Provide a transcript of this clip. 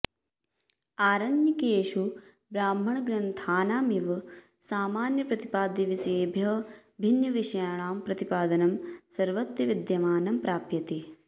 आरण्यकेषु ब्राह्मणग्रन्थानामिव सामान्यप्रतिपाद्यविषयेभ्यः भिन्नविषयाणां प्रतिपादनं सर्वत्र विद्यमानं प्राप्यते